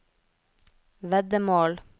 veddemål